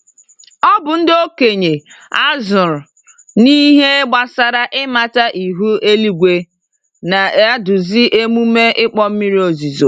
Ọbụ ndị okenye azụrụ n'ihe gbásárá ịmata ihu eluigwe, na-eduzi emume ịkpọ mmiri ozuzo.